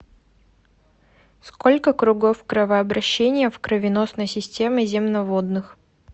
сколько кругов кровообращения в кровеносной системе земноводных